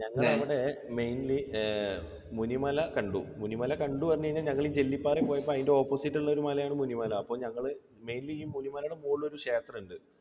ഞങ്ങളവിടെ mainly ഏർ മുനിമല കണ്ടു. മുനിമല കണ്ടു എന്ന് പറഞ്ഞാൽ ഞങ്ങൾ ജെല്ലിപ്പാറ പോയപ്പോൾ അതിൻറെ opposite ഉള്ള ഒരു മലയാണ് മുനിമല. അപ്പോൾ ഞങ്ങൾ mainly ഈ മുനിമലയുടെ മുകളിൽ ഒരു ക്ഷേത്രമുണ്ട്